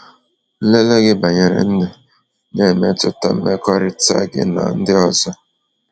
Nlele gị banyere ndụ na-emetụta mmekọrịta gị na ndị ọzọ.